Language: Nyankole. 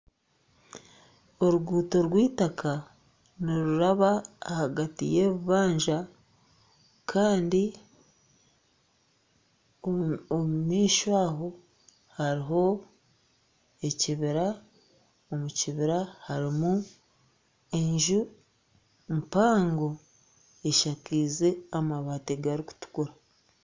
Oruguuto rw'eitaka niruraba ahagati y'ebibanja kandi omu maisho aho hariho ekibira, omu kibira harimu enju mpango eshakiize amabati garikutukura